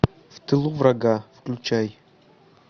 в тылу врага включай